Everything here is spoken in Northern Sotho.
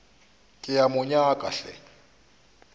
ke a mo nyaka hle